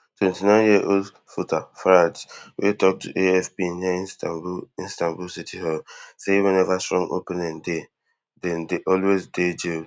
twenty-nineyearold voter ferhat wey tok to afp near istanbul istanbul city hall say weneva strong opponent dey [to erdogan] dem dey always dey jailed